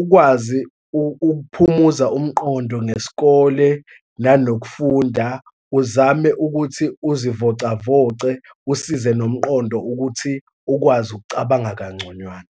ukwazi ukuphumuza umqondo ngesikole, nanokufunda, uzame ukuthi uzivocavoce, usize nomqondo ukuthi ukwazi ukucabanga kangconywana.